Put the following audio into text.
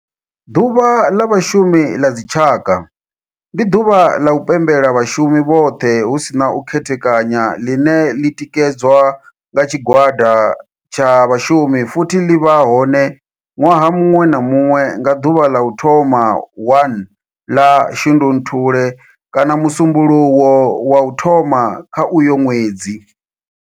Ḓuvha la Vhashumi la dzi tshaka, ndi duvha la u pembela vhashumi vhothe hu si na u khethekanya line li tikedzwa nga tshigwada tsha vhashumi futhi li vha hone nwaha munwe na munwe nga duvha la u thoma 1 la Shundunthule kana musumbulowo wa u thoma kha uyo nwedzi.